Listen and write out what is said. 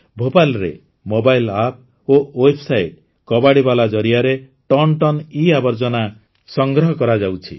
ଭୋପାଳରେ mobile app ଓ website କବାଡ଼ିବାଲା ଜରିଆରେ ଟନଟନ ଇଆବର୍ଜନା ସଂଗ୍ରହ କରାଯାଉଛି